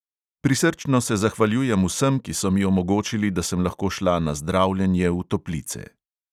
Prisrčno se zahvaljujem vsem, ki so mi omogočili, da sem lahko šla na zdravljenje v toplice.